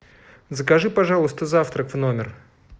закажи пожалуйста завтрак в номер